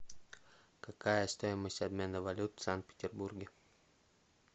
какая стоимость обмена валют в санкт петербурге